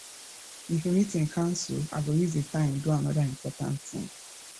if meeting cancel i go use the time do another important thing